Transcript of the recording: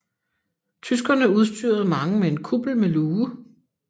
Tyskerne udstyrede mange med en kuppel med luge